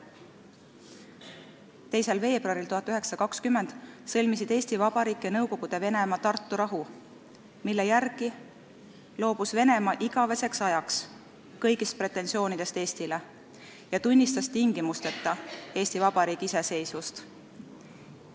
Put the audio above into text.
2. veebruaril 1920 sõlmisid Eesti Vabariik ja Nõukogude Venemaa Tartu rahu, mille järgi Venemaa loobus igaveseks ajaks kõigist pretensioonidest Eestile ja tunnistas tingimusteta Eesti Vabariigi iseseisvust.